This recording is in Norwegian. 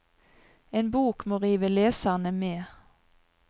En bok må rive leserne med.